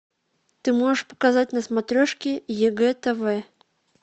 ты можешь показать на смотрешке егэ тв